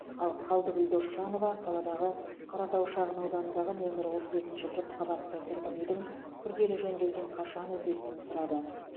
ал қалдыкүл досжанова қаладағы қаратау шағын ауданындағы нөмірі отыз екінші көпқабатты тұрғын үйдің күрделі жөндеуден қашан өтетінін сұрады